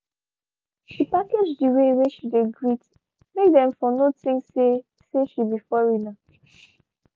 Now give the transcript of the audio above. she package the way whey she dey greet make them for no think say say she be foreigner